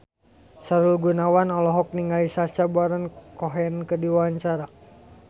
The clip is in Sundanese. Sahrul Gunawan olohok ningali Sacha Baron Cohen keur diwawancara